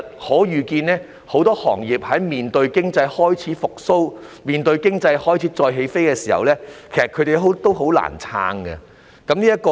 可以預見的是，在面對經濟開始復蘇、再起飛的時候，很多行業已難以撐下去。